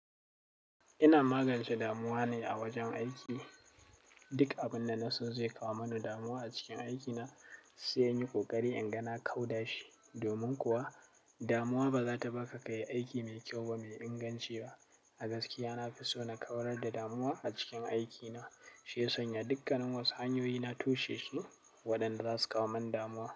Ina magance damuwa ne a wajen aiki. Duk abin da na so zai kawo mini damuwa a cikin aikina sai in yi ƙoƙari in gana kau da shi. Domin kuwa, damuwa ba za ta baka kayi aiki mai kyau ba, mai inganci ba. A gaskiya, na fi so na kawar da damuwa a cikin aikina, shiya sanya dukka nin wasu hanyoyi na tushe shi waɗanda za su kawo min damuwa.